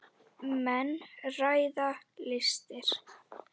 Menn ræða listir.